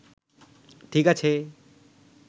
ঠিক আছে